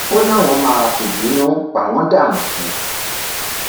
ó láwọn máa fìbínú pa wọn dànù ni